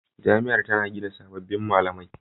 Jami'ar tana gina sabbin malamai.